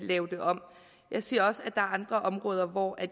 lave det om jeg siger også at er andre områder hvor